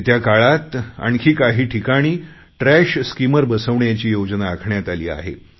येत्या काळात आणखी काही ठिकाणी ट्रॅश स्कीमर बसवण्याची योजना आखण्यात आली आहे